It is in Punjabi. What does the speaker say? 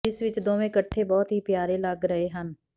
ਜਿਸ ਵਿੱਚ ਦੋਵੇਂ ਇਕੱਠੇ ਬਹੁਤ ਹੀ ਪਿਆਰੇ ਲੱਗ ਰਹੇ ਹਨ